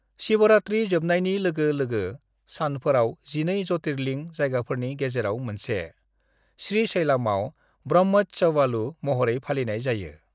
"शिवरात्रि जोबनायनि लोगो लोगो सानफोराव 12 ज्यतिर्लिंग जायगाफोरनि गेजेराव मोनसे, श्रीशैलमआव ब्रह्मोत्सवालू महरै फालिनाय जायो।"